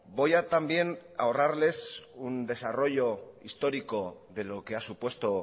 voy a también ahorrarles un desarrollo histórico de lo que ha supuesto